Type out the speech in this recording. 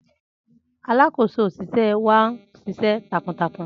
Alakoso oṣiṣẹ wa n ṣiṣẹ takuntakun